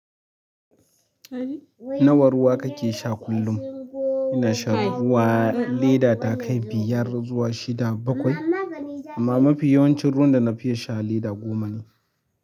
Nawa ruwa kake sha kullum? Ina sha ruwa in leda ta kai biyar zuwa shida bakwai. Amma mafi yawancin ruwan da na fiya sha lita goma ne.